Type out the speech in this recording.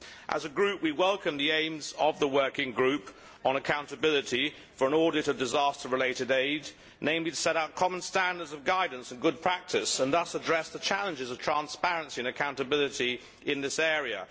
As a group we welcome the aims of the Working Group on Accountability for and Audit of Disaster related Aid, namely to set out common standards of guidance and good practice and thus address the challenges of transparency and accountability in this area.